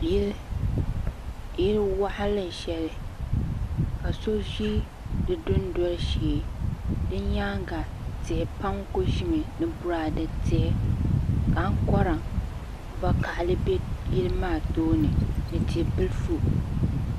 Yili waɣala sheli ka so ʒi di dunoli shee di nyaanga tihi pam kuli ʒimi ni boraade tihi ka ankora vakahali be yili maa tooni ni tia bilifu